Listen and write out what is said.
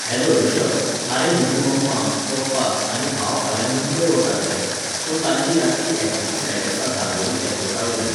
Hello Rishabh, आरे म्हजी मम्मा, पप्पा आनी भाव फाल्यां मुंबय वतात रे, सो तांची रातची एकाची फ्लायट आसा दाबोळी ऍरपोर्टावयल्यान.